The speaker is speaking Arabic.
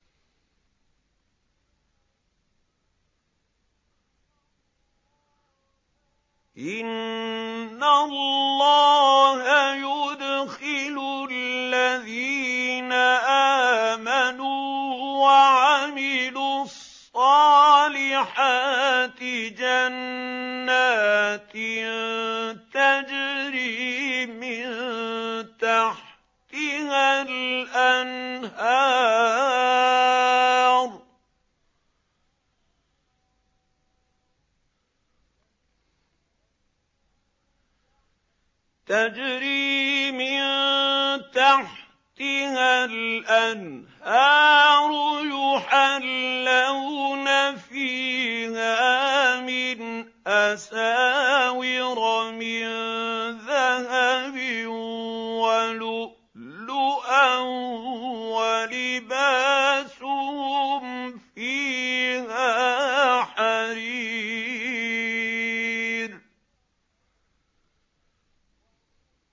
إِنَّ اللَّهَ يُدْخِلُ الَّذِينَ آمَنُوا وَعَمِلُوا الصَّالِحَاتِ جَنَّاتٍ تَجْرِي مِن تَحْتِهَا الْأَنْهَارُ يُحَلَّوْنَ فِيهَا مِنْ أَسَاوِرَ مِن ذَهَبٍ وَلُؤْلُؤًا ۖ وَلِبَاسُهُمْ فِيهَا حَرِيرٌ